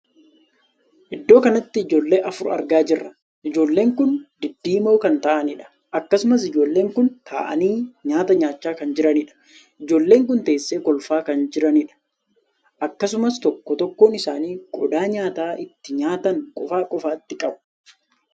Iddoo kanatti ijoollee afur argaa jirra. ijoolleen kun diddiimoo kan ta'aniidha. akkasumas ijoolleen kun taa'anii nyaata nyaachaa kan jiraniidha. ijoolleen kun teessee kolfaa kan jiranidha. akkasumas tokko tokkoon isaanii qodaa nyaata ittiin nyaatan qofa qofaatti qabu.